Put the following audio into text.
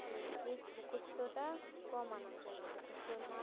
যেই মুখস্ত তা কম আনা জন্য হচ্ছে মুকস্ত